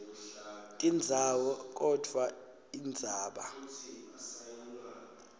tindzawo kodvwa indzaba